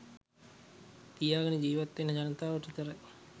තියාගෙන ජීවත් වෙන ජනතාවට විතරයි.